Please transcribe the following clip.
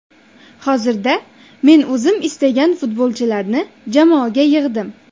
Hozirda men o‘zim istagan futbolchilarni jamoaga yig‘dim.